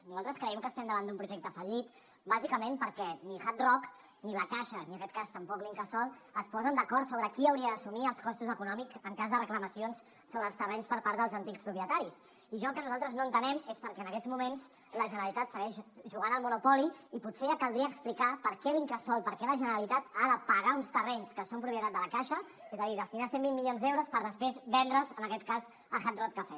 nosaltres creiem que estem davant d’un projecte fallit bàsicament perquè ni hard rock ni la caixa ni en aquest cas tampoc l’incasòl es posen d’acord sobre qui hauria d’assumir els costos econòmics en cas de reclamacions sobre els terrenys per part dels antics propietaris i jo el que nosaltres no entenem és per què en aquests moments la generalitat segueix jugant al monopoli i potser ja caldria explicar per què l’incasòl per què la generalitat ha de pagar uns terrenys que són propietat de la caixa és a dir destinar cent i vint milions d’euros per després vendre’ls en aquest cas a hard rock cafe